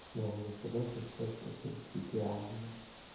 ну я согласен с тем что принципиально